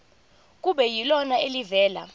kube yilona elivela